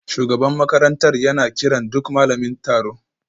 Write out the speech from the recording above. Shugaban makarantar yana kiran duk malamin taro